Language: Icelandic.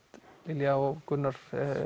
Lilja og Gunnar